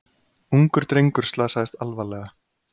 Ungur drengur slasaðist alvarlega